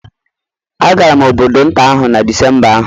Agara m obodo nta ahụ na Disemba ahụ